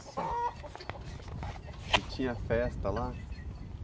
E tinha festa lá?